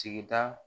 Sigida